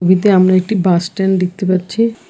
ছবিতে আমরা একটি বাস স্ট্যান্ড দেখতে পাচ্ছি।